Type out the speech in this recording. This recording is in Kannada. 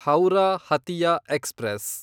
ಹೌರಾ ಹತಿಯಾ ಎಕ್ಸ್‌ಪ್ರೆಸ್